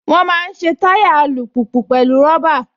Wọ́n máa ń ṣe táyà alùpùpù pẹ̀lú rọ́bà